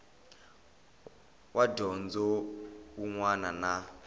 wa dyondzo wun wana na